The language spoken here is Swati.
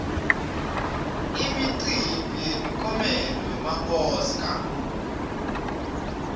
imikimbi yemikiomelo wema oscar